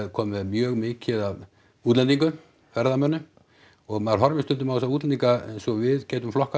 komin með mjög mikið af útlendingum ferðamönnum og maður horfir stundum á þessa útlendinga eins og við getum flokkað